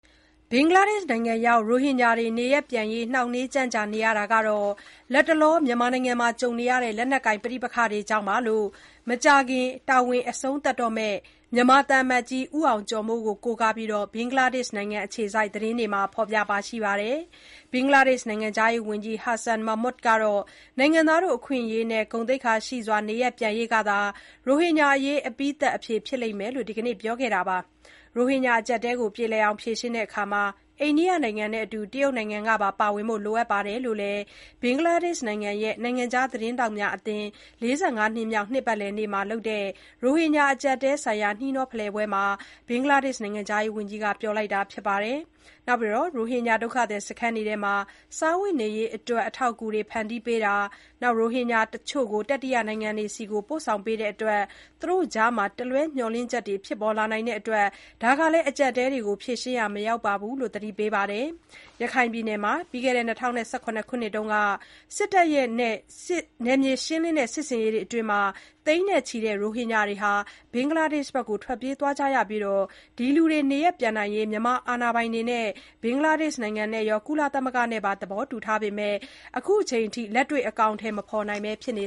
ဘင်္ဂလားဒေ့ရှ်နိုင်ငံရောက် ရိုဟင်ဂျာတွေ နေရပ်ပြန်ရေး နှောင့်နှေး ကြန့်ကြာနေရတာဟာ လတ်တလော ကြုံနေရတဲ့ လက်နက်ကိုင် ပဋိပက္ခတွေကြောင့်လို့ မကြာခင် တာဝန်အဆုံးသတ်တော့မယ် မြန်မာသံအမတ်ကြီး ဦးအောင်ကျော်မိုးကို ကိုးကားပြီး ဘင်္ဂလားဒေ့ရှ်နိုင်ငံ အခြေစိုက် သတင်းတွေက ဖော်ပြပါတယ်။ ဘင်္ဂလားဒေ့ရှ် နိုင်ငံခြားရေးဝန်ကြီး Hasan Mahmud ကတော့ နိုင်ငံသားအခွင့်အရေးနဲ့ ဂုဏ်သိက္ခာရှိစွာ နေရပ်ပြန်ရေးကသာ ရိုဟင်ဂျာအရေး အပြီးသတ်အဖြေ ဖြစ်လိမ့်မယ်လို့ ဒီနေ့ပဲ ပြောခဲ့တာပါ။ ရိုဟင်ဂျာအကျပ်အတည်းကို ပြေလည်အောင် ဖြေရှင်းရာမှာ အိန္ဒိယနိုင်ငံတဲ့အတူ တရုတ်နိုင်ငံကပါ ပါဝင်ဖို့ လိုအပ်တယ်လို့လည်း ဘင်္ဂလားဒေ့ရှ်နိုင်ငံရဲ့ နိုင်ငံခြားသတင်းထောက်များ အသင်း ၄၅ နှစ်မြောက် နှစ်ပတ်လည်နေ့မှာ လုပ်တဲ့ ရိုဟင်ဂျာအကျပ်အတည်းဆိုင်ရာ နှီးနှော ဖလှယ်ပွဲမှာ နိုင်ငံခြားရေးဝန်ကြီးက ပြောပါတယ်။ ရိုဟင်ဂျာ ဒုက္ခသည်စခန်းတွေမှာ စားဝတ်နေရေးအတွက် အထောက်အကူတွေ ဖန်တီးပေးနေတာ၊ ရိုဟင်ဂျာ အချို့ကို တတိယနိုင်ငံတွေဆီ ပို့ဆောင်ပေးတဲ့အတွက် သူတို့ကြားမှာ တလွဲမျှော်လင့်ချက်တွေ ဖြစ်လာနိုင်တဲ့အတွက် ဒါဟာ အကျပ်အတည်းတွေကို ဖြေရှင်းရာ မရောက်ဘူးလို့လည်း သတိပေးပါတယ်။ ရခိုင်ပြည်နယ်မှာ ၂၀၁၇ ခုနှစ်က စစ်တပ်ရဲ့ နယ်မြေရှင်းလင်းတဲ့ စစ်ဆင်ရေးတွေအတွင်း သိန်းနဲ့ချီတဲ့ ရိုဟင်ဂျာတွေ ဘင်္ဂလားဒေ့ရှ်နိုင်ငံဘက် ထွက်ပြေးသွားခဲ့ကြပြီး၊ ဒီလူတွေ နေရပ်ပြန်နိုင်ရေး မြန်မာအာဏာပိုင်တွေက ဘင်္ဂလားဒေ့ရှ် နိုင်ငံနဲ့ရော ကုလသမဂ္ဂနဲ့ပါ သဘောတူထားပေမဲ့ လက်တွေ့ အခုအချိန်အထိ အကောင်အတည် မဖော်နိုင်ပဲ ဖြစ်နေ